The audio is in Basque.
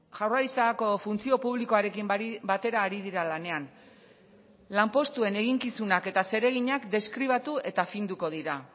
jaurlaritzako funtzio publikoarekin batera ari dira lanean lanpostuen eginkizunak eta zereginak deskribatu eta finduko dira